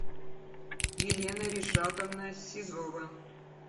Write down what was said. елена ришатовна сизова